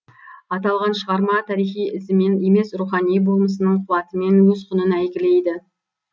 аталған шығарма тарихи ізімен емес рухани болмысының қуатымен өз құнын әйгілейді